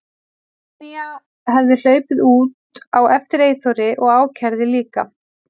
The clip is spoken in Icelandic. Tanya hefði hlaupið út á eftir Eyþóri og ákærði líka.